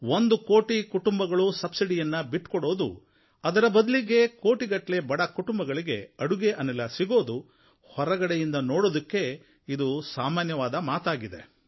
ಒಂದು ಕೋಟಿ ಕುಟುಂಬಗಳು ಸಬ್ಸಿಡಿಯನ್ನು ಬಿಟ್ಟುಕೊಡುವುದು ಅದರ ಬದಲಿಗೆ ಕೋಟಿಗಟ್ಟಲೆ ಬಡ ಕುಟುಂಬಗಳಿಗೆ ಅಡುಗೆ ಅನಿಲ ಸಿಗುವುದು ಹೊರಗಡೆಯಿಂದ ನೋಡುವುದಕ್ಕೆ ಇದು ಸಾಮಾನ್ಯವಾದ ಮಾತಾಗಿದೆ